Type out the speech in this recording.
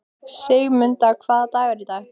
Sigurmunda, hvaða dagur er í dag?